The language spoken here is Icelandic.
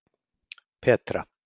Petra